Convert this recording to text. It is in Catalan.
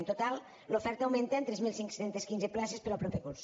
en total l’oferta augmenta en tres mil cinc cents i quinze places per al proper curs